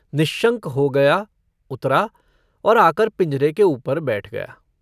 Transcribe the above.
निश्शंक हो गया उतरा और आकर पिंजरे के ऊपर बैठ गया।